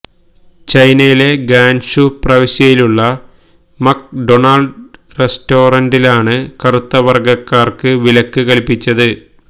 ചൈനയിലെ ഗാൻഷു പ്രവിശ്യയിലുള്ള McDonald റെസ്റ്റൊറന്റിലാണ് കറുത്ത വർഗ്ഗക്കാർക്ക് വിലക്ക് കൽപ്പിച്